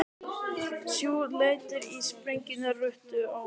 Sjö létust í sprengjuárás á rútu